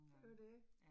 Det jo det